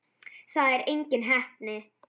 Það er engin heppni.